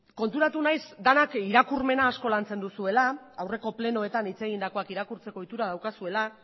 konturatu naiz denak irakurmena asko lantzen duzuela aurreko plenoetan hitz egindakoak irakurtzekoa ohitura daukazuela